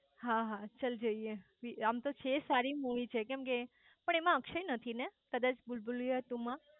હા હા ચલ જઇયે આમ તો છે સારી મુવી છે પણ એમાં અકક્ષય નથી ને કદાચ ભૂલભુલૈયા ટુ માં